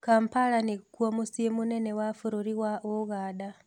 Kampala nĩkũo mucĩĩ mũnene wa Bũrũri wa Ũganda